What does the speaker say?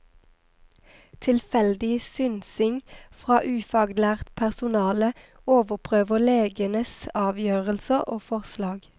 Tilfeldig synsing fra ufaglært personale overprøver legenes avgjørelser og forslag.